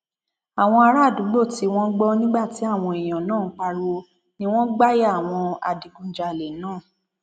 àwọn àràádúgbò tí wọn gbọ nígbà tí àwọn èèyàn náà ń pariwo ni wọn gbà ya àwọn adigunjalè náà